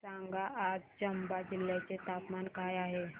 सांगा आज चंबा जिल्ह्याचे तापमान काय आहे